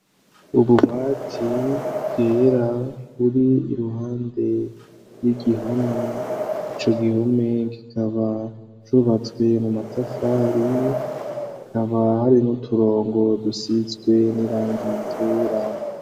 Ububati bwera buri iruhande y'igihome; ico gihome gikaba cubatswe mu matafari akaba hari n'uturongo dusizwe n'irangi ryera.